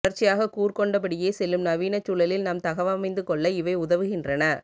தொடர்ச்சியாக கூர்கொண்டபடியே செல்லும் நவீனச் சூழலில் நாம் தகவமைந்துகொள்ள இவை உதவுகின்றன